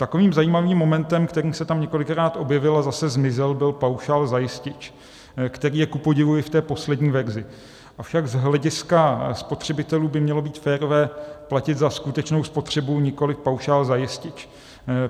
Takovým zajímavým momentem, který se tam několikrát objevil a zase zmizel, byl paušál za jistič, který je kupodivu i v té poslední verzi, avšak z hlediska spotřebitelů by mělo být férové platit za skutečnou spotřebu, nikoli paušál za jistič.